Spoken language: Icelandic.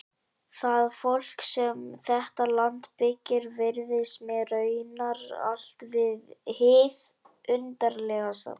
Það fólk sem þetta land byggir virðist mér raunar allt hið undarlegasta.